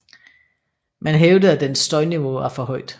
Man hævdede at dens støjniveau var for højt